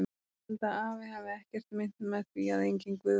Ég held að afi hafi ekkert meint með því að enginn Guð væri til.